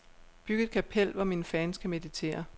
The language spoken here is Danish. Byg et kapel, hvor mine fans kan meditere.